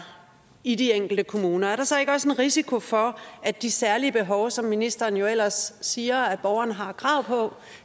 i de enkelte kommuner er der så ikke også en risiko for at de særlige behov som ministeren ellers siger borgeren har krav på